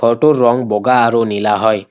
ঘৰটোৰ ৰং বগা আৰু নীলা হয়।